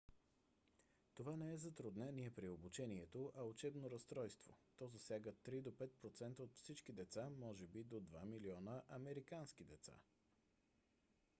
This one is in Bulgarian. това не е затруднение при обучението а учебно разстройство; то засяга 3 до 5 процента от всички деца може би до 2 милиона американски деца